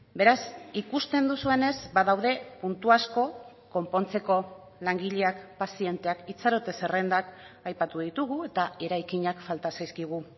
beraz ikusten duzuenez badaude puntu asko konpontzeko langileak pazienteak itxarote zerrendak aipatu ditugu eta eraikinak falta zaizkigu